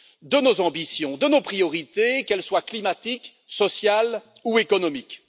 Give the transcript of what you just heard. de nos ambitions, de nos priorités, qu'elles soient climatiques, sociales ou économiques.